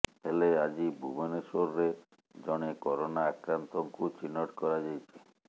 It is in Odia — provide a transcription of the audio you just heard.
ହେଲେ ଆଜି ଭୁବନେଶ୍ବରରେ ଜଣେ କରୋନା ଆକ୍ରାନ୍ତଙ୍କୁ ଚିହ୍ନଟ କରାଯାଇଛି